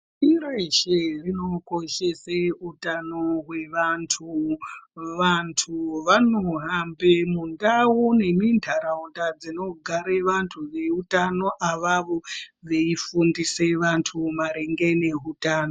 Pashi reshe rinokoshese utano hwevantu. Vantu vanohambe mundau nemintaraunda dzinogare vantu veutano avavo veifundise vantu maringe nehutano.